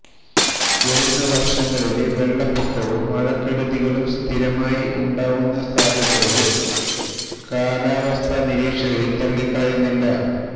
വരുന്ന വര്ഷങ്ങളില് വെള്ളപ്പൊക്കവും മഴക്കെടുതികളും സ്ഥിരമായി ഉണ്ടാവാനുള്ള സാധ്യതകള് കാലാവസ്ഥ നിരീക്ഷകര് തള്ളിക്കളയുന്നില്ല